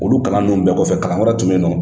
Olu kalan ninnu bɛɛ kɔfɛ, kalan wɛrɛ tun bɛ yen nɔ.